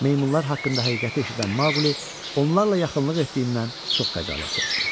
Meymunlar haqqında həqiqəti eşidən Maqli onlarla yaxınlıq etdiyindən çox xəcalət çəkdi.